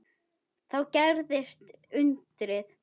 Þá gerðist undrið.